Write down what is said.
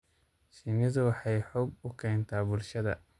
Shinnidu waxay xoog u keentaa bulshada.